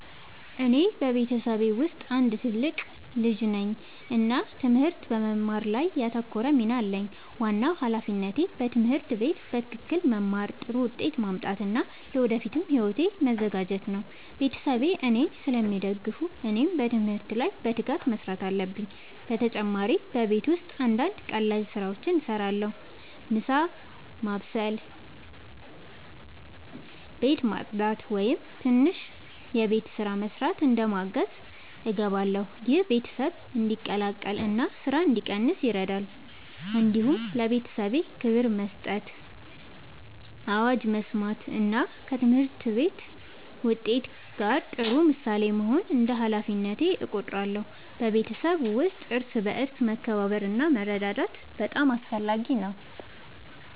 እኔ በቤተሰቤ ውስጥ አንድ ትልቅ ልጅ ነኝ እና ትምህርት በመማር ላይ ያተኮረ ሚና አለኝ። ዋናው ሃላፊነቴ በትምህርት ቤት በትክክል መማር፣ ጥሩ ውጤት ማምጣት እና ለወደፊት ሕይወቴ መዘጋጀት ነው። ቤተሰቤ እኔን ስለሚደግፉ እኔም በትምህርት ላይ በትጋት መስራት አለብኝ። በተጨማሪ በቤት ውስጥ አንዳንድ ቀላል ስራዎችን እረዳለሁ። ምሳ መስበስ፣ ቤት ማጽዳት ወይም ትንሽ የቤት ስራ መስራት እንደ ማገዝ እገባለሁ። ይህ ቤተሰብ እንዲቀላቀል እና ስራ እንዲቀንስ ይረዳል። እንዲሁም ለቤተሰቤ ክብር መስጠት፣ አዋጅ መስማት እና ከትምህርት ውጤት ጋር ጥሩ ምሳሌ መሆን እንደ ሃላፊነቴ እቆጥራለሁ። በቤተሰብ ውስጥ እርስ በርስ መከባበር እና መረዳዳት በጣም አስፈላጊ ነው።